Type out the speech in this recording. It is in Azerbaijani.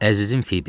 Əzizim Fibi.